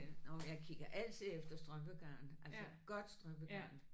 Og jeg kigger altid efter strømpegarn. Altså godt strømpegarn